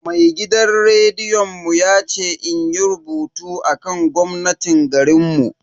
Mai gidan rediyon mu ya ce inyi rubutu akan gwamnatin garinmu.